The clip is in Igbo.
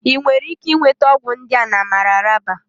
Ị nwere ike nweta ọgwụ ndị a na Mararaba